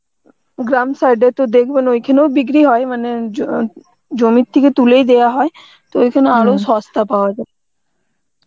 গ্রাম side এ তো দেখবেন ওইখানেও বিক্রি হয় মানে জ~ জমি থেকে তুলেই দেওয়া হয় তো ঐখানে সস্তায় পাওয়া যায়